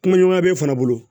Kumaɲɔgɔnya b'e fana bolo